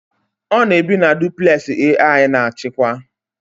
Ọ na-ebi na duplẹsị AI na-achịkwa